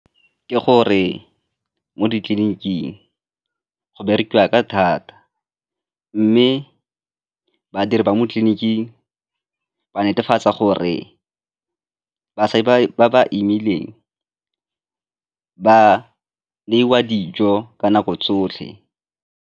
Ke gore mo ditleliniking go berekiwa ka thata mme badiri ba mo tleliniking ba netefatsa gore ba ba imileng ba neiwa dijo ka nako tsotlhe.